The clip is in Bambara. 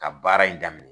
Ka baara in daminɛ